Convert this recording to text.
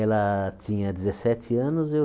Ela tinha dezessete anos eu